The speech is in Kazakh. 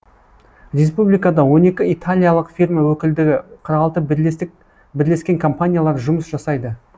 республикада он екі италиялық фирма өкілдігі қырық алты бірлескен компаниялар жұмыс жасайды